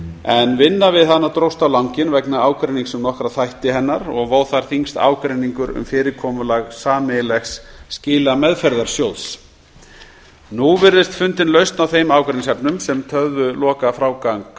en vinna við hana dróst á langinn vegna ágreinings um nokkra þætti hennar vó þar þyngst ágreiningur um fyrirkomulag sameiginlegs skilameðferðarsjóðs nú virðist fundin lausn á þeim ágreiningsefnum sem töfðu lokafrágang